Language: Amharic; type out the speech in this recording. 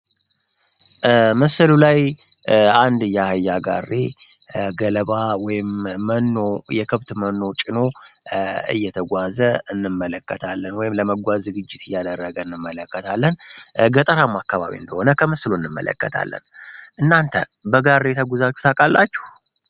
ምስሉ ላይ አንድ የአህያ ጋሪ ገለባ ወይም መኖ የከብት መኖ ጭኖ እየተጓዘ እናያለን ወይም ለመጓዝ ዝግጅት እያደረገን እንመለከታለን ገጠራማ አካባቢ እንደሆነ ከምስሉ እንመለከታለን። እናንተ በጋሪ ተጉዛችሁ ታውቃላችሁ?